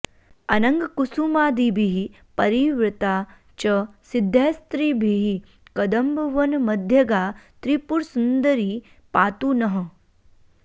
अनङ्गकुसुमादिभिः परिवृता च सिद्धैस्त्रिभिः कदम्बवनमध्यगा त्रिपुरसुन्दरी पातु नः